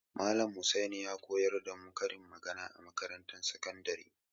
Malam Husaini ya koyar da mu karin magana a makarantar sakandare.